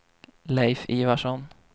Leif Ivarsson